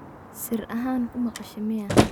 Sir axaan kumaqashe miyaa.